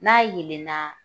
N'a yelenna